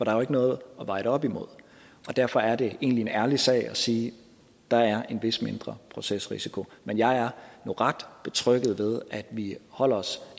er jo ikke noget at veje det op imod derfor er det egentlig en ærlig sag at sige at der er en vis mindre procesrisiko men jeg er nu ret betrygget ved at vi holder os